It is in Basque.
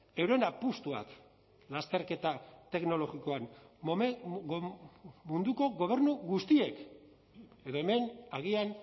euren apustuak lasterketa teknologikoan munduko gobernu guztiek edo hemen agian